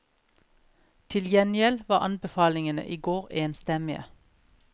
Til gjengjeld var anbefalingene i går enstemmige.